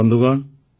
ବନ୍ଧୁଗଣ